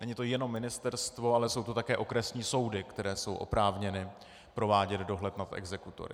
Není to jenom ministerstvo, ale jsou to také okresní soudy, které jsou oprávněny provádět dohled nad exekutory.